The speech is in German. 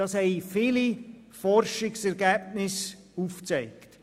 Das haben viele Forschungsergebnisse aufgezeigt.